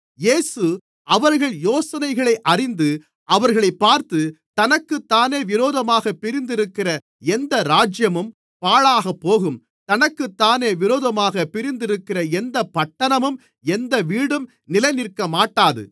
இயேசு அவர்கள் யோசனைகளை அறிந்து அவர்களைப் பார்த்து தனக்குத்தானே விரோதமாகப் பிரிந்திருக்கிற எந்த ராஜ்யமும் பாழாகப்போகும் தனக்குத்தானே விரோதமாகப் பிரிந்திருக்கிற எந்தப் பட்டணமும் எந்த வீடும் நிலைநிற்கமாட்டாது